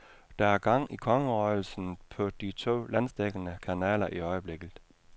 Der er gang i kongerøgelsen på de to landsdækkende kanaler i øjeblikket.